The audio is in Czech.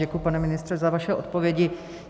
Děkuji, pane ministře, za vaše odpovědi.